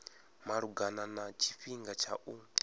malugana na tshifhinga tsha u